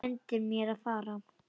Bendir mér að fara fram.